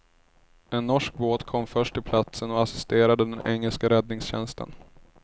En norsk båt kom först till platsen och assisterade den engelska räddningstjänsten.